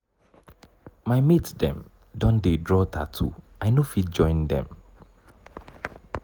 my mate dem don dey draw tatoo i no fit join dem.